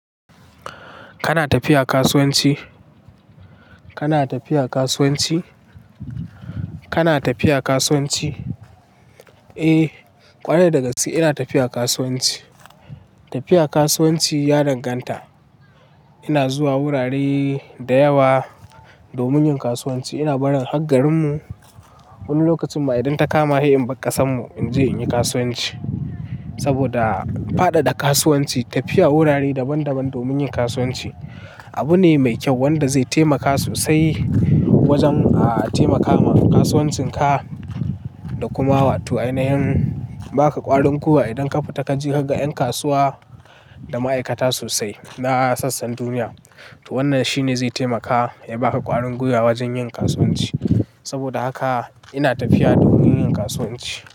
Kana tafiya kasuwanci? Kana tafiya kasuwanci? Kana tafiya kasuwanci? Eh, ƙwarai dagaci ina tafiya kasuwanci. Tafiya kasuwanci ya danganta. Ina zuwa wurare dayawa domin yin kasuwanci. Ina barin hakkarin mu wani lokacin ma idan ta kama hai'ar bakasan mu in je inyi kasuwanci. Saboda fada da kasuwanci, tafiya wurare daban daban domin yin kasuwanci abu ne mai kyau wanda zai taimaka sosai wajen taimakawa kasuwancin ka da kuma wato ainayin baka ƙwarin kuwa idan ka fita ka ji hakka'yan kasuwa da ma'aikata sosai na sassan duniya. To wannan shi ne zai taimaka ya baka ƙwarin gwiwa wajen yin kasuwanci. Saboda haka ina tafiya domin yin kasuwanci.